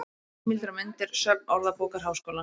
Heimildir og myndir: Söfn Orðabókar Háskólans.